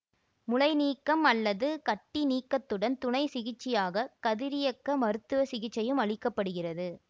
முலை நீக்கம் அல்லது கட்டி நீக்கத்துடன் துணை சிகிச்சையாக கதிரியக்க மருத்துவ சிகிச்சையும் அளிக்க படுகிறது